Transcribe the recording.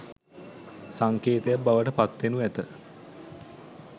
සංකේතයක් බවට පත්වෙනු ඇත.